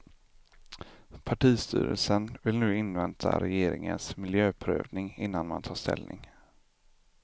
Partistyrelsen vill nu invänta regeringens miljöprövning innan man tar ställning.